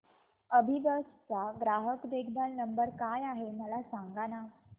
अभिबस चा ग्राहक देखभाल नंबर काय आहे मला सांगाना